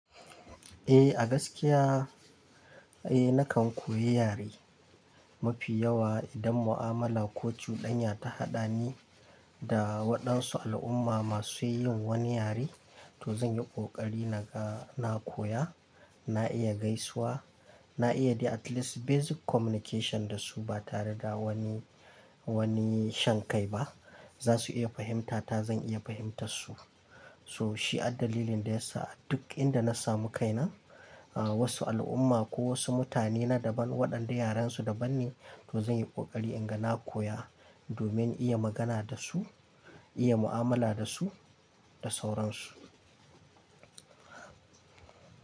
Eh, a gaskiya, eh, nakan koyi yare mafi yawa idan mu'amala ko cudanya ta haɗa ni da waɗansu al'umma masu yin wani yare, to zan yi ƙoƙari naga na koya, na iya gaisuwa, na iya the at least basic communication da su ba tare da wani, wani shan kai ba. Zasu iya fahimtata, zan iya fahimtarsu. So shi addalilin da yasa duk inda na samu kaina, ah, wasu al'umma ko wasu mutane na daban, waɗanda yarensu daban ne, to zan yi ƙoƙari inga na koya domin iya magana da su, iya mu'amala da su da sauransu.